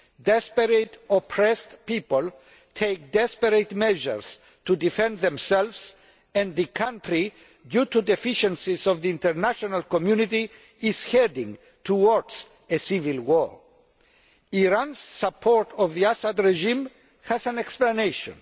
Desperate oppressed people take desperate measures to defend themselves and the country, due to deficiencies of the international community, is heading towards civil war. Iran's support of the Assad regime has an explanation.